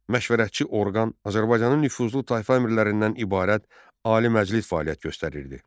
Məşvərətçi orqan Azərbaycanın nüfuzlu tayfa əmirlərindən ibarət Ali Məclis fəaliyyət göstərirdi.